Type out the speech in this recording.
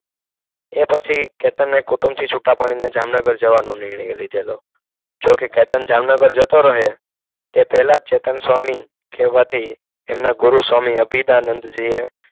એ પછી કેતનને કુટુંબથી છૂટા પડીને જામનગર જવાનુ નિર્ણય લીધેલો જોકે કેતન જામનગર જતો રહે તે પહેલા ચેતનસ્વામી કહેવાથી એમના ગુરુ સ્વામિ અભિદાનંદજીએ